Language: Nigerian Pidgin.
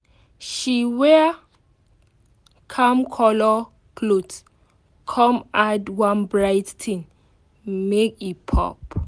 she wear calm colour cloth come add one bright thing make e pop.